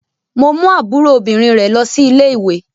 Mo mú àbúrò obìnrin rẹ̀ lọ ilé-ìwé.